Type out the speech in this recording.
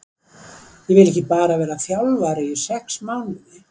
Ég vil ekki bara vara þjálfari í sex mánuði.